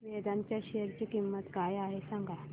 वेदांत च्या शेअर ची किंमत काय आहे सांगा